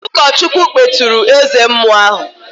Ụkọchukwu kpeturu eze mmụọ ahụ